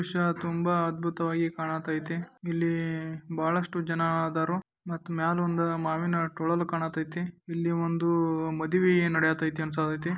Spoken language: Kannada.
ದೃಶ್ಯ ತುಂಬಾ ಅದ್ಭುತವಾಗಿ ಕಾಣತೇತಿ . ಇಲ್ಲಿ ಬಹಳಷ್ಟು ಜನ ಆದರೂ ಮತ್ತು ಮ್ಯಾಲ ಒಂದು ಮಾವಿನ ತೋಳಲು ಕಾಣತೇತಿ. ಇಲ್ಲಿ ಒಂದು ಮದುವೆ ನಡೆಯುತ್ತಿದೆ ಅನಸತೇತಿ .